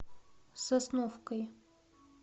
сосновкой